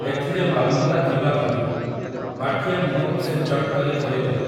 ଏଥିରେ ମାଲ୍ମତା ଥିବା ଭାବି, ମାଠିଆ ମୁହଁକୁ ସେ ଚଟ୍‌କରି ଖୋଲିଦେଲା ।